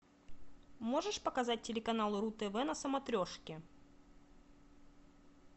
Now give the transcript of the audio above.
можешь показать телеканал ру тв на смотрешке